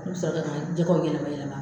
jɛgɛw yɛlɛmayɛlɛma.